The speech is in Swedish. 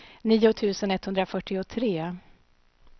nio tusen etthundrafyrtiotre